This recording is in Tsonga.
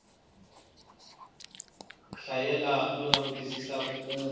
hlayela no langutisela ku kuma